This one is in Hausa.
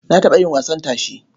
Na taɓa yin wasan tashe.